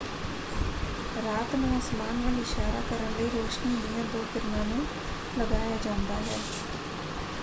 ਰਾਤ ਨੂੰ ਅਸਮਾਨ ਵੱਲ ਇਸ਼ਾਰਾ ਕਰਨ ਲਈ ਰੋਸ਼ਨੀ ਦੀਆਂ ਦੋ ਕਿਰਨਾਂ ਨੂੰ ਲਗਾਇਆ ਜਾਂਦਾ ਹੈ।